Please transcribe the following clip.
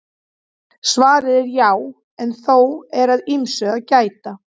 Svarið er já en þó er að ýmsu að gæta.